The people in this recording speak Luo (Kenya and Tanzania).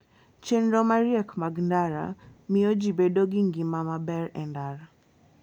Chenro mariek mag ndara miyo ji bedo gi ngima maber e ndara.